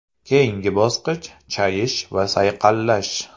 Keyingi bosqich chayish va sayqallash.